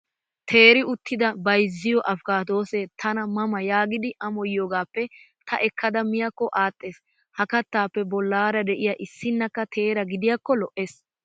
Teeri uttida bayizziyoo askkaadoosee tana ma ma yaagidi amoyiyaagaappe ta ekkada miyaakko aadhdhes. Ha kattaappe bollaara de'iyaa issinnakka teera gidiyaakko lo'ees.